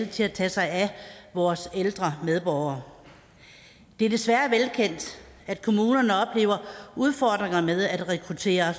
til at tage sig af vores ældre medborgere det er desværre velkendt at kommunerne oplever udfordringer med at rekruttere